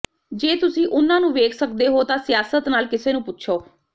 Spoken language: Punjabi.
ਜੇ ਤੁਸੀਂ ਉਨ੍ਹਾਂ ਨੂੰ ਵੇਖ ਸਕਦੇ ਹੋ ਤਾਂ ਸਿਆਸਤ ਨਾਲ ਕਿਸੇ ਨੂੰ ਪੁੱਛੋ